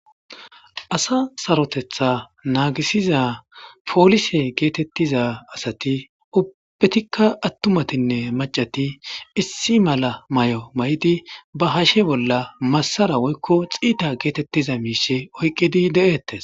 Asa saroteththa naagisiza polisse geetetiza asati ubbati attumatinne maccati issi mala mayo mayidi ba hashe bolla massara woykko xiita geetettiza miisha oykkidi de7eetesi.